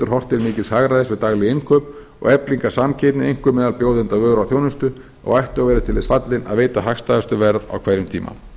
horft til mikils hagræðis við dagleg innkaup og eflingar samkeppni einkum meðal bjóðenda vöru og þjónustu og ættu að vera til þess fallin að veita hagstæðustu verð á hverjum tíma